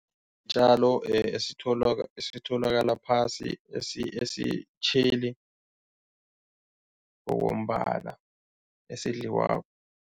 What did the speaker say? Iintjalo esitholakala phasi esitjheli ngokombala, esidliwako.